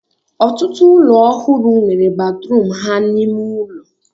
Ọtụtụ ụlọ ọhụrụ nwere batrum ha n'ime ụlọ